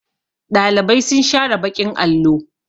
Ɗalibai sun share baƙin allo.